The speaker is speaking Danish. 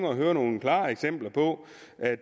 at høre nogle klare eksempler på